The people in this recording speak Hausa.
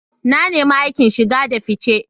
Na nemi aikin shige da fice.